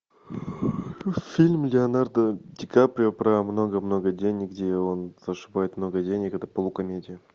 фильм леонардо ди каприо про много много денег где он зашибает много денег это полукомедия